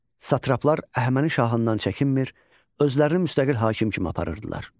Satraplar Əhəməni şahından çəkinmir, özlərini müstəqil hakim kimi aparırdılar.